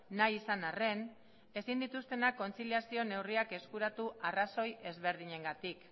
nahi izan arren ezin dituztenak kontziliazio neurriak eskuratu arrazoi ezberdinengatik